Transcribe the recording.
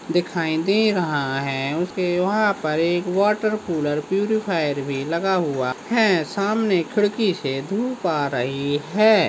दिखाई दे रहा है उसके वहा पर एक वॉटर कूलर प्यूरिफायर भी लगा हुआ है सामने खिड़की से धूप आ रही है।